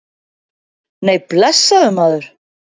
Nei, blessaður, maður.